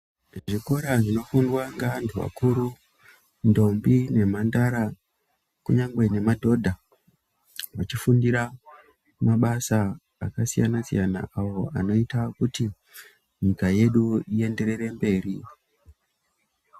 Zvikora zvinofundwa ngeanhu akuru, ndombi nemhandara ,kunyangwe nemadhodha ,achifundira mabasa akasiyana-siyana, awo anoita kuti nyika yedu ienderere mberi.